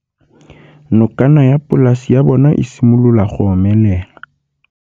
Nokana ya polase ya bona, e simolola go omelela.